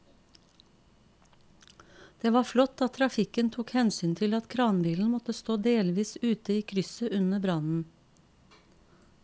Det var flott at trafikken tok hensyn til at kranbilen måtte stå delvis ute i krysset under brannen.